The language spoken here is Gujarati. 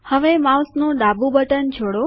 હવે માઉસનું ડાબું બટન છોડો